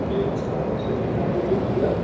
gents का saloon है beauty parlour --